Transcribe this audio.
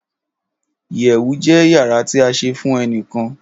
iyewu je iyara ti a se fun enikan